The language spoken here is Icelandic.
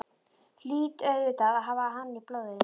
Hlýt auðvitað að hafa hann í blóðinu.